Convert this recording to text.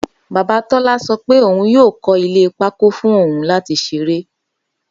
Baba Tola sọ pe oun yoo kọ ile pákó fun oun lati ṣere